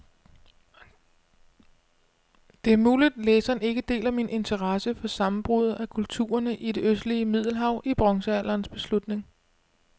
Det er muligt, læseren ikke deler min interesse for sammenbruddet af kulturerne i det østlige middelhav i bronzealderens slutning.